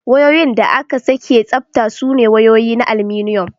Wayoyin da aka sake tsabta sune wayoyi na aluminum.